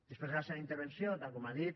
després de la seva intervenció tal com ha dit